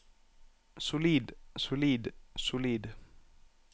solid solid solid